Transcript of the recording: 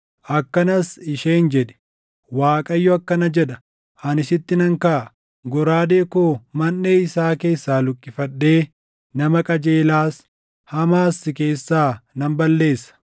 akkanas isheen jedhi: ‘ Waaqayyo akkana jedha: Ani sitti nan kaʼa. Goraadee koo manʼee isaa keessaa luqqifadhee nama qajeelaas, hamaas si keessaa nan balleessa.